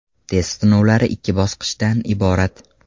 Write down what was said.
Test sinovlari ikki bosqichdan iborat.